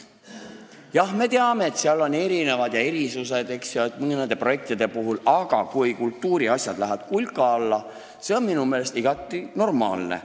Jah, me teame, et seal on erinevused ja erisused, eks ju, mõningate projektide puhul, aga kui kultuuriasjad lähevad kulka alla, siis see on minu meelest igati normaalne.